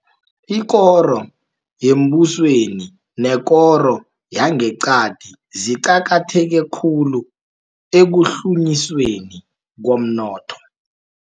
IKoro Yembusweni Nekoro Yangeqadi Ziqakatheke Khulu Ekuhlunyisweni Komnotho